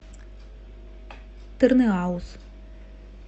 тырныауз